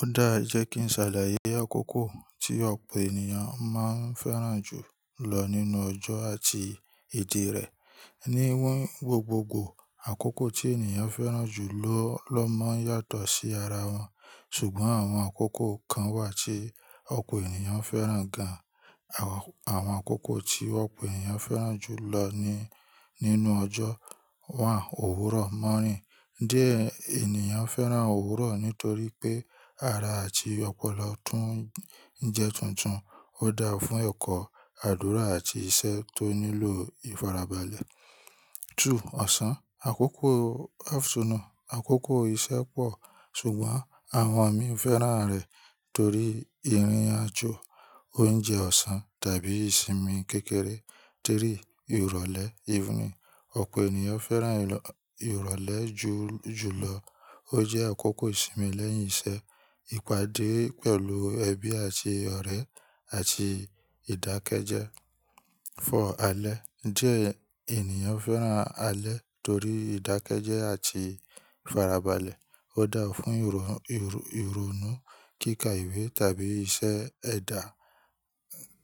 Ó dáa jẹ́ kí n ṣàlàyé àkókò tí ọ̀pọ̀ ènìyàn máa ń fẹ́ràn jù lọ nínú ọjọ́ àti èdè rẹ̀. Ní wí gbogbogbò, àkókò tí ènìyàn fẹ́ràn jù lọ lọ máa ń yàtọ̀ sí ara wọn, ṣùgbọ́n àwọn àkókò kan wà tí ọ̀pọ̀ ènìyàn fẹ́ràn gan. Àwọn àkókò tí ọ̀pọ̀ ènìyàn fẹ́ràn jù lọ ní nínú ọjọ́ wà: òwúrọ̀, morning. Diẹ ènìyàn fẹ́ràn òwúrọ̀ nítorí pé ara àti ọpọlọ tún ń jẹ tuntun. Ó dáa fún ẹ̀kọ́, àdúrà àti iṣẹ́ tó nílò ìfarabalẹ̀. Two, ọ̀sán, àkókò afternoon. Àkókò iṣẹ́ pọ̀, ṣùgbọ́n àwọn mí fẹ́ràn rẹ̀ torí ìrìnàjò, oúnjẹ ọ̀sán tàbí ìsinmi kékeré. Three, ìrọ̀lẹ́, evening. Ọ̀pọ̀ ènìyàn fẹ́ràn ìrọ̀lẹ́ jù jùlọ. Ó jẹ́ àkókò ìsinmi lẹ́yìn iṣẹ́, ìpàdé pẹ̀lú ẹbí àti ọ̀rẹ́ àti ìdákẹ́jẹ́. Four, alẹ́. Diẹ ènìyàn fẹ́ràn alẹ́ torí ìdákẹ́jẹ́ àti ìfarabalẹ̀. Ó dáa fún ìrònú kíkà ìwé tàbí iṣẹ́ ẹ̀dá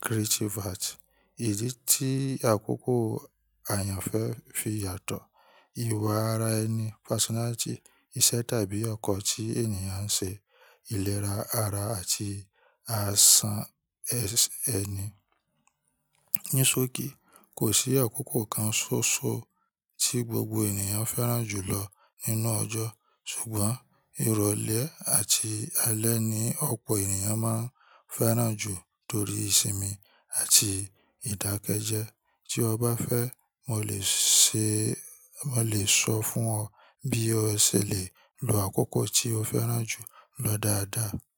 creative arts. Ìdí tí àkókò àyànfẹ́ fi yàtọ̀, ìwà ara ẹni, personality, iṣẹ́ tàbí ọkọ̀ tí ènìyàn ń ṣe, ìlera ara àti àṣà ẹni. Ní sókí, kò sí àkókò kan ṣoṣo tí gbogbo ènìyàn fẹ́ràn jù lọ nínú ọjọ́. Ṣùgbọ́n ìrọ̀lẹ́ àti alẹ́ ni ọ̀pọ̀ ènìyàn máa ń fẹ́ràn jù torí ìsinmi àti ìdákẹ́jẹ́. Tí o bá fẹ́, mo lè ṣe, mo lè sọ fún ọ bí o ṣe lè lo àkókò tí o fẹ́ràn jù lọ dáadáa.